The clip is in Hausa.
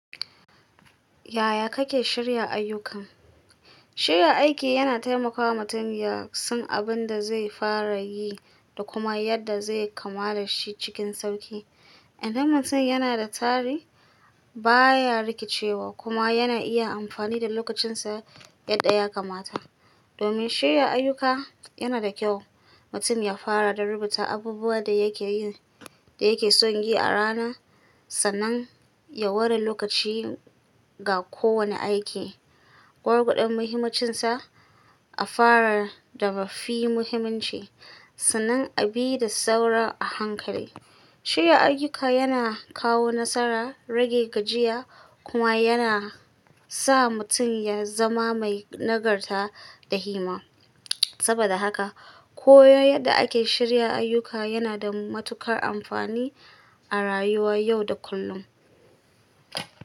Yaya kake shirya ayyuka? Shirya aiki yana taimakawa mutum ya san abin da zai fara yi da kuma yadda zai kamala shi cikin sauƙi. Idan mutum yana da tsari, baya rikicewa kuma yana iya amfani da lokacinsa yadda ya kamata. Domin shirya ayyuka, yana da kyau mutum ya fara da rubuta abubuwan da yake yi da yake son yi a rana, sannan ya ware lokaci ga kowane aiki. Gwargwadon muhimmucinsa a fara da ba fi muhimmanci, sannan a bi da sauran a hankali. Shirya ayyuka yana kawo nasara, rage gajiya kuma yana sa mutum ya zama mai nagarta da himma. Saboda haka, koyon yadda ake shirya ayyuka yana da matuƙar amfani a rayuwa yau da kullum.